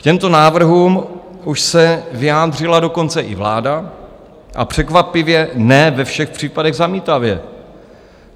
K těmto návrhům už se vyjádřila dokonce i vláda a překvapivě ne ve všech případech zamítavě.